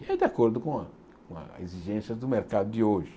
É de acordo com a com as exigências do mercado de hoje.